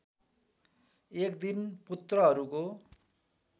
एक दिन पुत्रहरूको